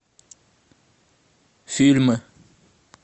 фильмы